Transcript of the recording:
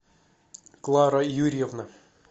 клара юрьевна